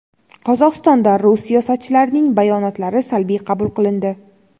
Qozog‘istonda rus siyosatchilarining bayonotlari salbiy qabul qilindi.